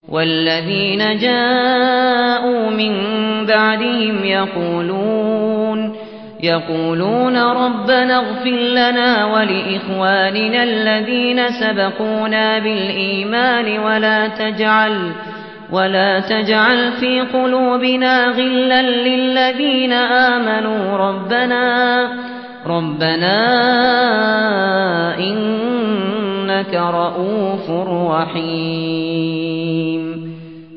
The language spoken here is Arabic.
وَالَّذِينَ جَاءُوا مِن بَعْدِهِمْ يَقُولُونَ رَبَّنَا اغْفِرْ لَنَا وَلِإِخْوَانِنَا الَّذِينَ سَبَقُونَا بِالْإِيمَانِ وَلَا تَجْعَلْ فِي قُلُوبِنَا غِلًّا لِّلَّذِينَ آمَنُوا رَبَّنَا إِنَّكَ رَءُوفٌ رَّحِيمٌ